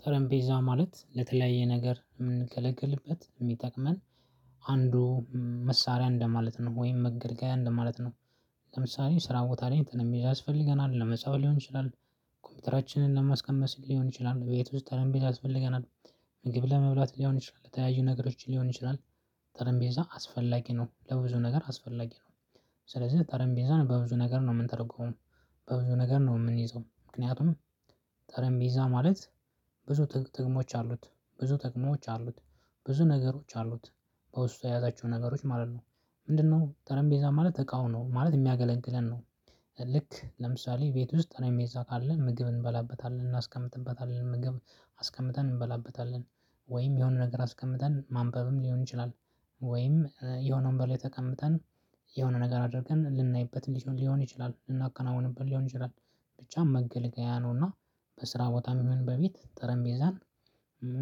ጠረምቤዛ ማለት ለተለያየ ነገር የምንገለግልበት፣ የሚጠቅመን አንዱ መሳሪያ እንደማለት ነው ወይም መገልገያ እንደማለት ነው። ለምሳሌ ስራ ቦታ ላይ እንትን የሚይዝ ያስፈልገናል፣ ለመጻፍ ሊሆን ይችላል፣ ኮምፒውተራችንን ለማስቀመጥ ሊሆን ይችላል፣ ቤት ውስጥ ጠረምቤዛ ቤት ያስፈልገናል፣ ምግብ ለመብላት ሊሆን ይችላል ተያዩ ነገሮች ሊሆን ይችላል ጠረንቤዛ አስፈላጊ ነው ለብዙ ነገር አስፈላጊ ነው። ስለዚህ ጠረንቤዛን በብዙ ነገር ነው የምንተርጉመው በብዙ ነገር ነው የምንይዘው ምክንያቱም ጠረምቤዛ ማለት ብዙ ጥቅሞች አሉት ብዙ ጥቅሞች አሉት ብዙ ነገሮች አሉት በውስጡ የያዛቸው ነገሮች ማለት ነው። ምንድነው ጠረምቤዛ ማለት ተቃውሞ ማለት የሚያገለግለን ነው። ልክ ለምሳሌ ቤት ውስጥ ጠረምቤዛ ካለ ምግብ እንበላበታለን፣ እናስቀምጥበታለን ምግብ አስቀምጠን እንበላበታለን ወይም የሆነ ነገር አስቀምጠን ማንበብም ሊሆን ይችላል ወይም የሆነ ወንበር ላይ ተቀምጠን የሆነ ነገር አድርገን ልናይበትም ሊሆን ይችላል፣ ልናከናውንበት ሊሆን ይችላል ብቻ መገልገያ ነውና በስራ ቦታም ይሁን በቤት ጠረምቤዛን